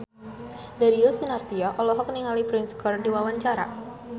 Darius Sinathrya olohok ningali Prince keur diwawancara